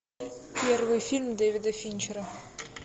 первый фильм дэвида финчера